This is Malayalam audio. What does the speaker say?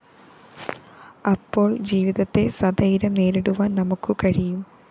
അപ്പോള്‍ ജീവിതത്തെ സധൈര്യം നേരിടുവാന്‍ നമുക്കു കഴിയും